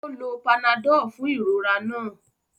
O lò panadol fún ìrora náà